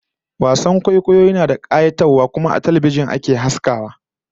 Wasan kwaikwayo yana da kayatarwa kuma a fili ake yin sa a idanun mai kallo ba a talbijin ba